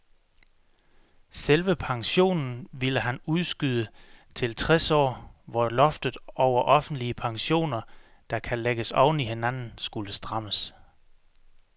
Selve pensionen ville han udskyde til tres år, hvor loftet over offentlige pensioner, der kan lægges oven i hinanden, skulle strammes.